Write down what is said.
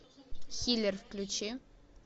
силлер включи